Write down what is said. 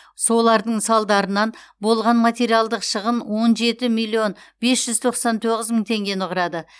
солардың салдарынан болған материалдық шығын он жеті миллион бес жүз тоқсан тоғыз мың тенгені құрады